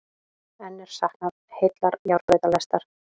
Enn er saknað heillar járnbrautalestar